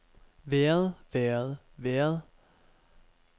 været været været